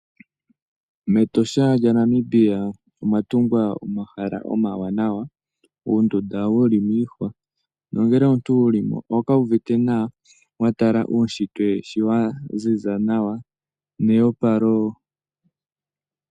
MEtosha lyaNamibia omwa tungwa omahala omawanawa, uundunda wuli miihwa nongele omuntu wuli mo oho kala wu uvite nawa wa tala uunshitwe sho wa ziza nawa, neyopalo.